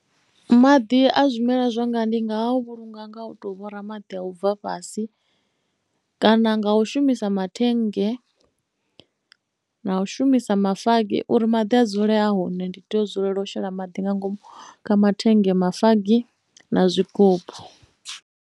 Maḓi a zwimela zwanga ndi nga vhulunga nga u to vhora maḓi a u bva fhasi kana nga u shumisa mathennge na u shumisa mafagi uri maḓi a dzule a hone ndi tea u dzulela u shela maḓi nga ngomu kha mathenga mafagi na zwigubu.